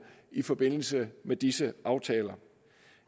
i forbindelse med disse aftaler